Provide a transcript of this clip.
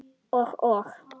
Og, og.